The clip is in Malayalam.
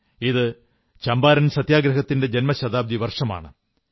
ഇത് ചമ്പാരൻ സത്യഗ്രഹത്തിന്റെ ശതാബ്ദി വർഷമാണ്